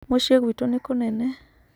Mũciĩ gwitũ nĩ kũnene.